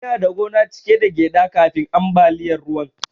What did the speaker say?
Ina da gona cike da gyaɗa kafin ambaliyar ruwan.